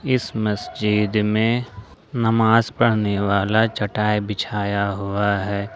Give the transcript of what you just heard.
इस मस्जिद में नमाज पढ़ने वाला चटाई बिछाया हुआ है।